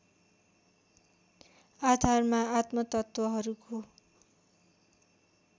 आधारमा आत्मतत्त्वहरूको